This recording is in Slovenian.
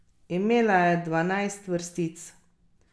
Imela je dvanajst vrstic.